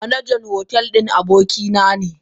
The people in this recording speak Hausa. Manajan hotel din abokina ne.